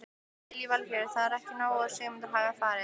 Lillý Valgerður: Það er ekki nóg að Sigmundur hafi farið?